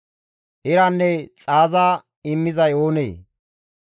Iranne xaaza immizay oonee?